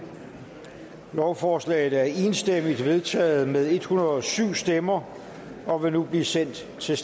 lovforslaget er enstemmigt vedtaget med en hundrede og syv stemmer og vil nu blive sendt til